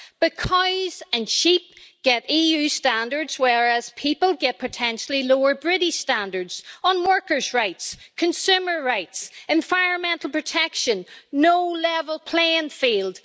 But cows and sheep get EU standards, whereas people get potentially lower British standards on workers' rights, consumer rights, environmental protection no level playing field.